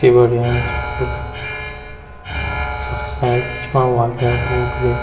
तिबरियाँ एैंच फूल तख सायद बिछ्वा वाल तै बूट भी।